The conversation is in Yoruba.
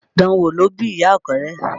Dan wò ló bí ìyà Ọ̀kẹ́rẹ́